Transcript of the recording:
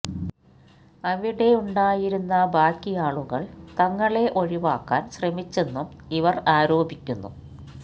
അവിടെയുണ്ടായിരുന്ന ബാക്കി ആളുകൾ തങ്ങളെ ഒഴിവാക്കാൻ ശ്രമിച്ചെന്നും ഇവർ ആരോപിക്കുന്നു